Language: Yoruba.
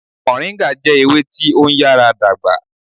Moringa jẹ ewe ti o nyara dagba